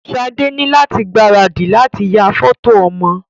Sade ni lati gbaradì lati ya fọto ọmọ.